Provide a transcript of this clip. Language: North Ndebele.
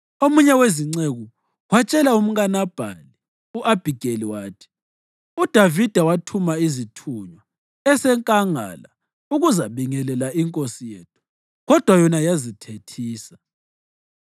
Omunye wezinceku watshela umkaNabhali u-Abhigeli wathi, “UDavida wathuma izithunywa esenkangala ukuzabingelela inkosi yethu, kodwa yona yazithethisa.